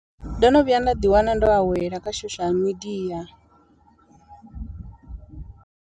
Ndo no vhuya nda ḓi wana ndo awela kha social media.